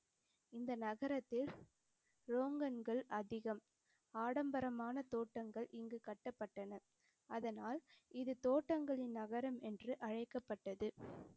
இந்த நகரத்தில் ரோங்கன்கள் அதிகம். ஆடம்பரமான தோட்டங்கள் இங்குக் கட்டப்பட்டன, அதனால் இது தோட்டங்களின் நகரம் என்று அழைக்கப்பட்டது.